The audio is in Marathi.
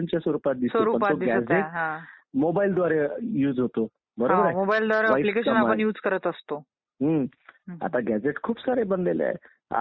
त्याच्यासाठी त्यांनी निवडणुका लावल्या परंतु ते निवडून देण्याचा लोकांना अधिकार म्हणजे असा होता की स्त्रियांना निवडणुकीचा अधिकारच नव्हता.